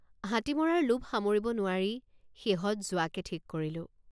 হাতী মৰাৰ লোভ সামৰিব নোৱাৰি শেহত যোৱাকে ঠিক কৰিলোঁ।